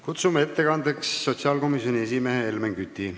Kutsume ettekandeks kõnetooli sotsiaalkomisjoni esimehe Helmen Küti.